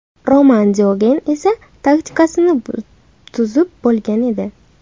Roman Diogen esa taktikasini tuzib bo‘lgan edi.